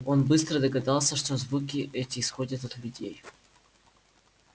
он быстро догадался что звуки эти исходят от людей